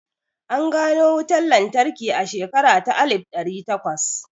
An gano wutan lantarki a shekara ta alif ɗari takwas